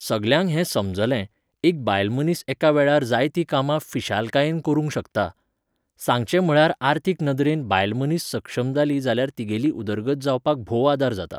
सगल्यांक हें समजलें, एक बायल मनीस एका वेळार जायतीं कामां फिशालकायेन करूंक शकता. सांगचें म्हळ्यार आर्थीक नदरेन बायल मनीस सक्षम जाली जाल्यार तिगेली उदरगत जावपाक भोव आदार जाता